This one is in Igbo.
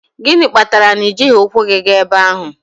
Gịnị kpatara na i jighị ụkwụ gị gaa ebe ahụ?